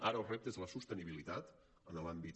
ara el repte és la sostenibilitat en l’àmbit